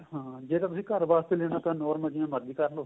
ਹਾਂ ਜੇ ਤੁਸੀਂ ਘਰ ਵਾਸਤੇ ਲੈਣਾ ਤਾਂ normal ਜਿਵੇਂ ਮਰਜੀ ਕਰਲੋ